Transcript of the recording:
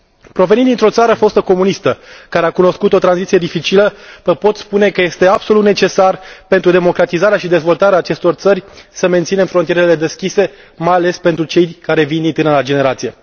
Provenind dintr o țară fostă comunistă, care a cunoscut o tranziție dificilă, vă pot spune că este absolut necesar pentru democratizarea și dezvoltarea acestor țări să menținem frontierele deschise, mai ales pentru cei care vin din tânăra generație.